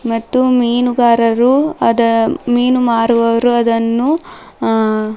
ಮತ್ತು ಮೀನುಗಾರರು ಅದ ಮೀನು ಮಾರುವರು ಅದನ್ನು ಆ--